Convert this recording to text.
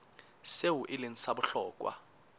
seo e leng sa bohlokwa